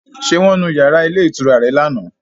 Ṣé wọ́n nu yàrá ilé ìtura rẹ lánàá?